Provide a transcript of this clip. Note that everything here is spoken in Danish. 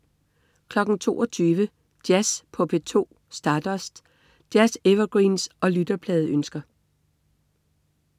22.00 Jazz på P2. Stardust. Jazz-evergreens og lytterpladeønsker